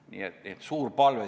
Nii et selline suur palve.